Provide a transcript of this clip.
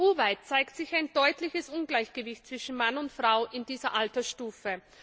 EU weit zeigt sich ein deutliches Ungleichgewicht zwischen Mann und Frau in dieser Altersstufe.